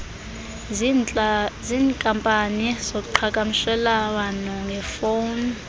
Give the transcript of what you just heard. ziinkampani zoqhakamshelwano ngefowuni